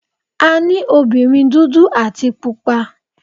A ní obìnrin dúdú àti Pupa.